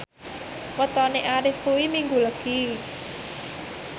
wetone Arif kuwi Minggu Legi